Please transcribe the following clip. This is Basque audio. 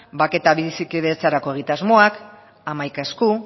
bake eta bizikidetzarako egitasmoak hamaika esku